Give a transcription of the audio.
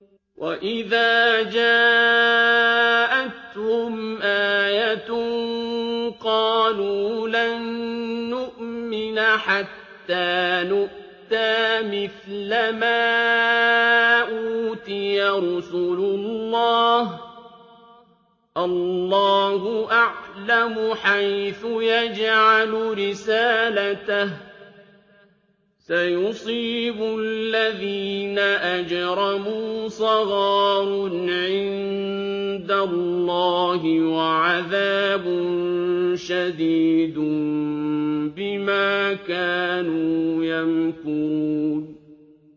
وَإِذَا جَاءَتْهُمْ آيَةٌ قَالُوا لَن نُّؤْمِنَ حَتَّىٰ نُؤْتَىٰ مِثْلَ مَا أُوتِيَ رُسُلُ اللَّهِ ۘ اللَّهُ أَعْلَمُ حَيْثُ يَجْعَلُ رِسَالَتَهُ ۗ سَيُصِيبُ الَّذِينَ أَجْرَمُوا صَغَارٌ عِندَ اللَّهِ وَعَذَابٌ شَدِيدٌ بِمَا كَانُوا يَمْكُرُونَ